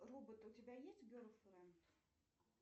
робот у тебя есть герлфренд